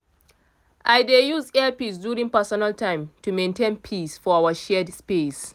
i dey use earpiece during personal time to maintain peace for our shared space.